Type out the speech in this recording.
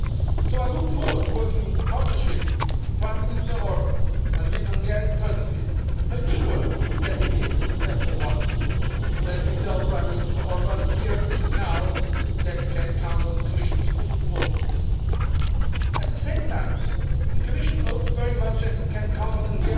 So I look forward to working in partnership with Prime Minister Orbán and with the Hungarian Presidency to make sure that it is a successful one. Let me tell Prime Minister Orbán here and now that he can count on the Commission's full support on this. At the same time, the Commission hopes very much that it can count on the